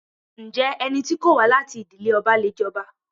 Ǹjẹ́ ẹni tí kò wá láti ìdílé ọba le jọba?